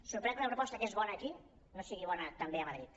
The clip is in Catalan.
sorprèn que una proposta que és bona aquí no sigui bona també a madrid